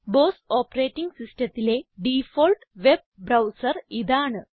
boss operating Systemത്തിലെ default web browser ഇതാണ്